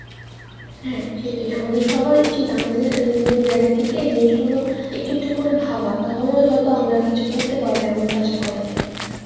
হ্যাঁ সেটাই আমাদের সবার উচিৎ আমাদের এমন কোন যায়গা থেকে জিনিস গুলো একটু একটু করে ভাবা তাহলেই হয়তো আমরা কিছু করতে পারব এমন টা আশা করা যায়